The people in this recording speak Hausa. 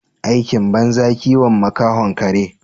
Aikin banza kiwon makahon kare.